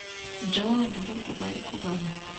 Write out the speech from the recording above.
Njogoo nĩ gũkũga ĩkũgaga.